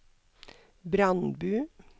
Brandbu